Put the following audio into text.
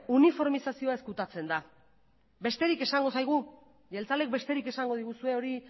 uniformizazioa ezkutatzen da besterik esango zaigu jeltzaleek besterik esango diguzue hori